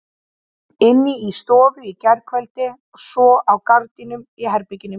Inni í stofu í gærkveldi og svo á gardínurnar í herberginu mínu.